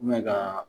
ka